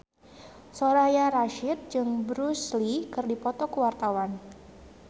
Soraya Rasyid jeung Bruce Lee keur dipoto ku wartawan